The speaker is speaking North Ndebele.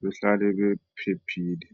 behlale bephephile.